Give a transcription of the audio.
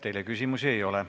Teile küsimusi ei ole.